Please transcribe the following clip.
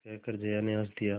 कहकर जया ने हँस दिया